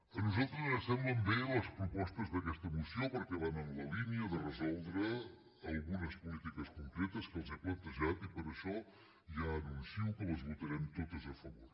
a nosaltres ens semblen bé les propostes d’aquesta moció perquè van en la línia de resoldre algunes polítiques concretes que els he plantejat i per això ja anuncio que les votarem totes a favor